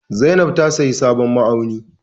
Zainab ta sayi sabon ma'auni.